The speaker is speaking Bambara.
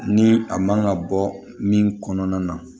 Ni a man ka bɔ min kɔnɔna na